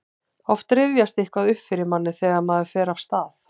oft rifjast eitthvað upp fyrir manni þegar maður fer af stað